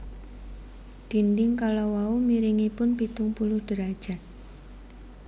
Dinding kala wau miringipun pitung puluh derajat